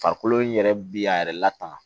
Farikolo in yɛrɛ bi a yɛrɛ lataa